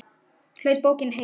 Hlaut bókin heitið